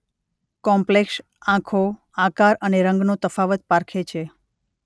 Complex આંખો આકાર અને રંગનો તફાવત પારખે છે.